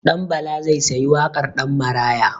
Ɗanbala zai sayi wakar Ɗanmaraya.